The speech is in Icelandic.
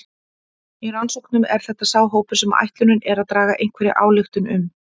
Í rannsóknum er þetta sá hópur sem ætlunin er að draga einhverja ályktun um.